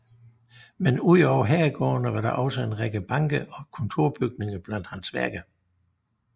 Men ud over herregårdene var der også en række banker og kontorbygninger blandt hans værker